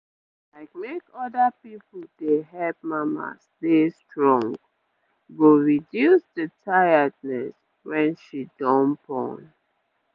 ah like make oda people dey help mamas dey strong go reduce the tiredness when she don born